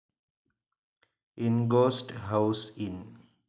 in ghost house in